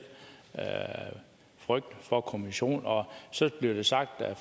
frygt for kommissionen og så bliver det sagt af